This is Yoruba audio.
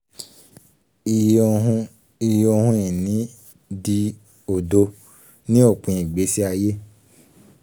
ii) iye ohun ii) iye ohun ìní dì odó ní òpin ìgbésí ayé.